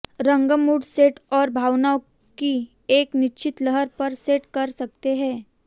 रंग mood set और भावनाओं की एक निश्चित लहर पर सेट कर सकते हैं